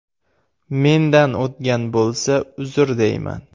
Mendan o‘tgan bo‘lsa uzr, deyman.